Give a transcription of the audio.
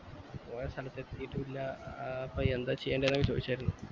സ്ഥലത്ത് എത്തീറ്റു ഇല്ല ആഹ് അപ്പൊ എന്താ ചെയ്യണ്ടെന്നു ഒക്കെ ചോയ്ച്ചായിരുന്നു